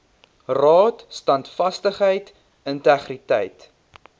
raad standvastigheid integriteit